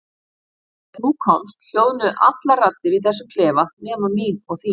Og þegar þú komst hljóðnuðu allar raddir í þessum klefa nema mín og þín.